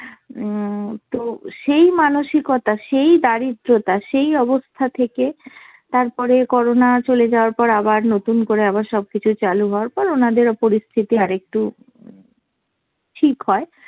উম তো সেই মানসিকতা, সেই দারিদ্রতা, সেই অবস্থা থেকে তারপরে করোনা চলে যাওয়ার পর আবার নতুন করে আবার সব কিছু চালু হওয়ার পর ওনাদের পরিস্থিতি আরেকটু ঠিক হয়।